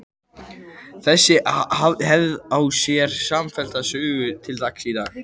Þessi hefð á sér samfellda sögu til dagsins í dag.